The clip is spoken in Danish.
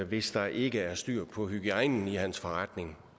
hvis der ikke er styr på hygiejnen i hans forretning